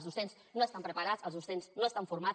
els docents no estan preparats els docents no estan formats